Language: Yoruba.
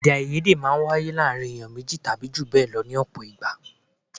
Èdè-áiyedé máa ń wáyé láàárín èèyàn méjì tàbí jù bẹ́ẹ̀ lọ ní ọ̀pọ̀ ìgbà.